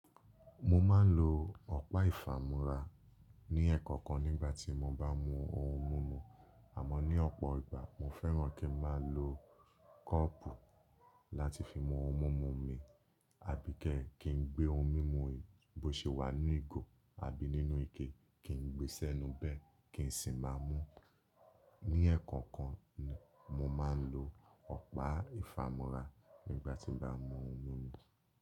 Mo máa ń lo ọ̀pá ìfàmúra ní ẹẹ́kọ̀kan nígbà tí mo bá mú ohun mímu, àmọ́ ní ọ̀pọ̀ ìgbà mo fẹ́ràn kí n máa lo kọ́ọ̀pù láti fi mú ohun mímu mi, àbí kẹ́ kí n gbé ohun mímu bó ṣe wà nínú ìgò àbí nínú ike kí n gbé sẹ́nu bẹ́ẹ̀ kí n sì máa mú. Ní ẹẹ́kọ̀kan ni mo máa ń lo ọ̀pá ìfàmúra nígbà tí n bá mú ohun mímu.